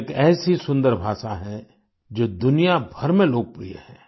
यह एक ऐसी सुंदर भाषा है जो दुनिया भर में लोकप्रिय है